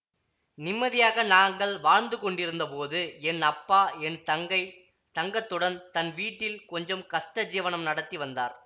நிம்மதியாக நாங்கள் வாழ்ந்துகொண்டிருந்தபோது என் அப்பா என் தங்கை தங்கத்துடன் தன் வீட்டில் கொஞ்சம் கஷ்ட ஜீவனம் நடத்தி வந்தார்